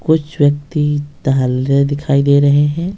कुछ व्यक्ति तेहल्ले दिखाई दे रहे हैं।